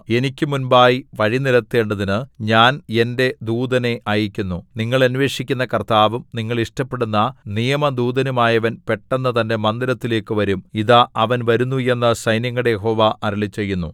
എനിക്ക് മുമ്പായി വഴി നിരത്തേണ്ടതിനു ഞാൻ എന്റെ ദൂതനെ അയയ്ക്കുന്നു നിങ്ങൾ അന്വേഷിക്കുന്ന കർത്താവും നിങ്ങൾ ഇഷ്ടപ്പെടുന്ന നിയമദൂതനുമായവൻ പെട്ടെന്ന് തന്റെ മന്ദിരത്തിലേക്കു വരും ഇതാ അവൻ വരുന്നു എന്ന് സൈന്യങ്ങളുടെ യഹോവ അരുളിച്ചെയ്യുന്നു